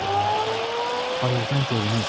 Bayırdan görünür,